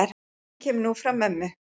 Sú hugmynd kemur nú frá mömmu.